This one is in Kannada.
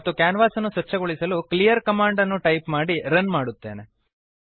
ಮತ್ತು ಕ್ಯಾನ್ವಾಸನ್ನು ಸ್ವಚ್ಛಗೊಳಿಸಲು ಕ್ಲೀಯರ್ ಕಮಾಂಡ್ ಅನ್ನು ಟೈಪ್ ಮಾಡಿ ರನ್ ಮಾಡುತ್ತೇನೆ